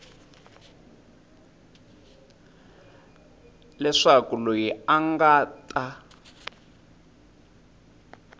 leswaku loyi a nga ta